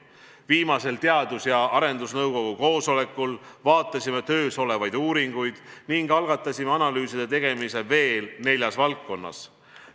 Viimasel Teadus- ja Arendusnõukogu koosolekul vaatasime töös olevaid uuringuid ning algatasime analüüside tegemise veel neljas valdkonnas.